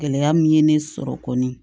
Gɛlɛya min ye ne sɔrɔ kɔni